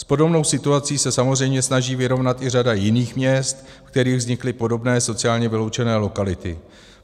S podobnou situací se samozřejmě snaží vyrovnat i řada jiných měst, ve kterých vznikly podobné sociálně vyloučené lokality.